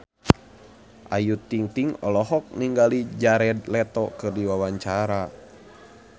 Ayu Ting-ting olohok ningali Jared Leto keur diwawancara